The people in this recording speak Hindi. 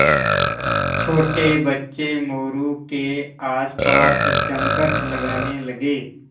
छोटे बच्चे मोरू के आसपास जमघट लगाने लगे